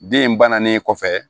Den in bannen kɔfɛ